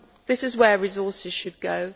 This is where resources should go.